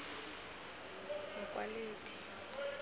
mokwaledi